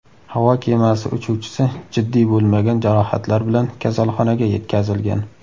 Havo kemasi uchuvchisi jiddiy bo‘lmagan jarohatlar bilan kasalxonaga yetkazilgan.